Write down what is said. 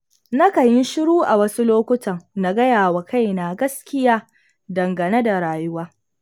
Na kan yi shiru a wasu lokutan, na gayawa kaina gaskiya dangane da rayuwa.